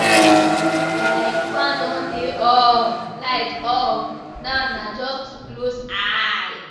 Like Fan don dey on, light off, now na just to close eye.